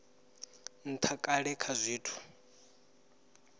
ntha kale kha zwithu zwinzhi